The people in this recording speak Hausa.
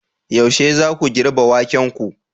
Yaushe zaku girbe wakenku?